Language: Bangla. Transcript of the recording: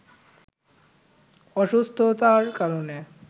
অসুস্থতার কারণে